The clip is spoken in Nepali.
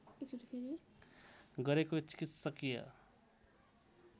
गरेको चिकित्सकीय